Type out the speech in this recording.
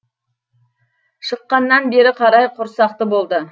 шыққаннан бері қарай құрсақты болды